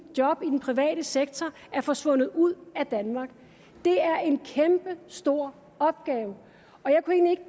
job i den private sektor er forsvundet ud af danmark det er en kæmpestor opgave og jeg kunne egentlig